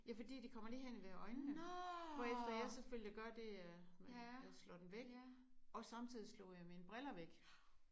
Ja fordi de kommer lige hen ved øjnene hvorefter jeg selvfølgelig gør det jeg slår dem væk og samtidig slog jeg mine briller væk